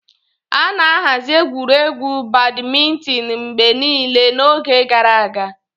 A na-ahazi egwuregwu Badimintin mgbe niile n'oge gara aga.